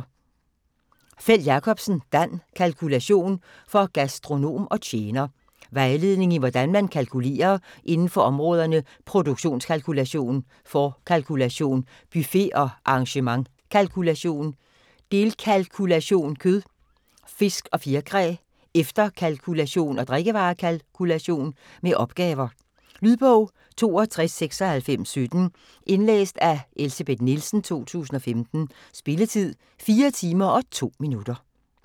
Feld-Jakobsen, Dan: Kalkulation: for gastronom og tjener Vejledning i hvordan man kalkulerer inden for områderne produktionskalkulation, forkalkulation, buffet- og arrangementskalkulation, delkalkulation kød, fisk og fjerkræ, efterkalkulation og drikkevarekalkulation. Med opgaver. Lydbog 629617 Indlæst af Elsebeth Nielsen, 2015. Spilletid: 4 timer, 2 minutter.